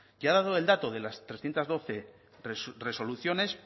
y ha dado el dato de las trescientos doce resoluciones